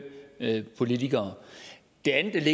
politikere det andet